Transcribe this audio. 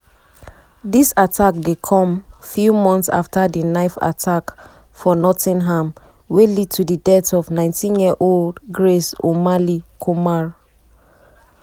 dis attack dey come few months afta di knife attack for nottingham wey lead to di death of 19-year-old grace o'malley-kumar.